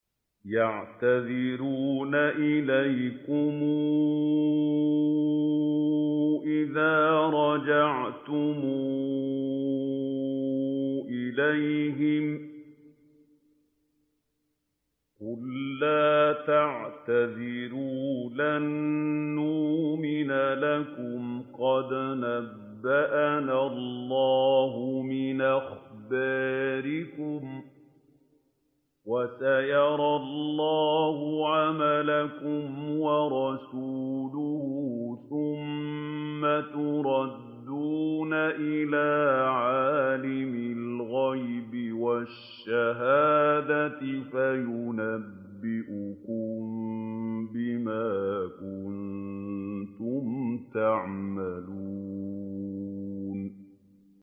يَعْتَذِرُونَ إِلَيْكُمْ إِذَا رَجَعْتُمْ إِلَيْهِمْ ۚ قُل لَّا تَعْتَذِرُوا لَن نُّؤْمِنَ لَكُمْ قَدْ نَبَّأَنَا اللَّهُ مِنْ أَخْبَارِكُمْ ۚ وَسَيَرَى اللَّهُ عَمَلَكُمْ وَرَسُولُهُ ثُمَّ تُرَدُّونَ إِلَىٰ عَالِمِ الْغَيْبِ وَالشَّهَادَةِ فَيُنَبِّئُكُم بِمَا كُنتُمْ تَعْمَلُونَ